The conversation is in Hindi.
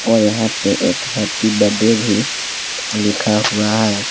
और यहां पे एक हैप्पी बड्डे भी लिखा हुआ है।